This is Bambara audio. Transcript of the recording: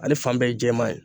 Ale fan bɛɛ ye jɛman ye